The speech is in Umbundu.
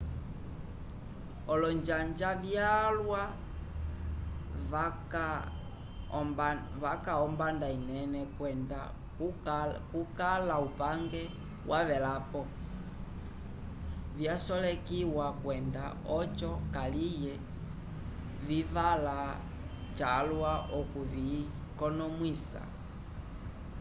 olonjanja vyalwa vaca ombanda inene kwenda kukala upange wavelapo vyasolekiwa kwenda oco kaliye civala cawa okuvikonomwisa